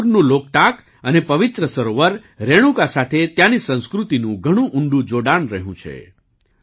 મણિપુરનું લોકટાક અને પવિત્ર સરોવર રેણુકા સાથે ત્યાંની સંસ્કૃતિનુ ઘણુ ઉંડું જોડાણ રહ્યું છે